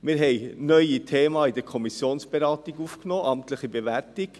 Wir haben neue Themen in der Kommissionsberatung aufgenommen, die amtliche Bewertung.